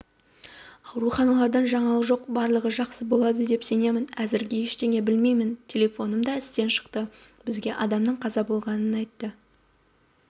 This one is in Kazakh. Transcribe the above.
ауруханалардан жаңалық жоқ барлығы жақсы болады деп сенемін әзірге ештеңе білмеймін телефоным да істен шықты бізге адамның қаза болғанын айтты